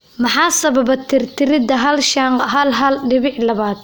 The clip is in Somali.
Maxaa sababa tirtiridda hal shan q hal hal dibic labaad?